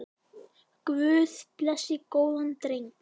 Guð blessi góðan dreng.